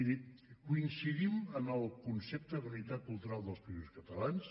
miri coincidim en el concepte d’unitat cultural dels països catalans